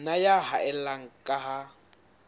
nna ya haella ka ha